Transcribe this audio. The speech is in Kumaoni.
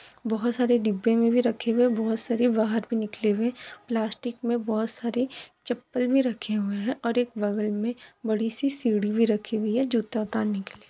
बहोत सारे डिब्बे मे भी रखे हुए बहोत सारे बाहर भी निकली हुए प्लास्टिक मे बहोत सारी चप्पल भी रखे हुए हैं और एक बगल मे बड़ी सी सीड़ि भी रखी हुई है जूता उतारने के लिए।